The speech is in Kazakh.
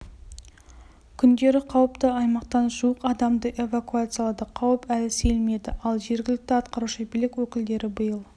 күндері қауіпті аймақтан жуық адамды эвакуациялады қауіп әлі сейілмеді ал жергілікті атқарушы билік өкілдері биыл